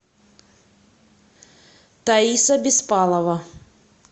таиса беспалова